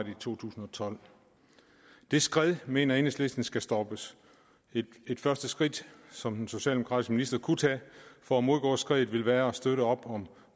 i to tusind og tolv det skred mener enhedslisten skal stoppes et første skridt som den socialdemokratiske minister kunne tage for at modgå skredet vil være at støtte op om